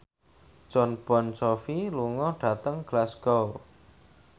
Jon Bon Jovi lunga dhateng Glasgow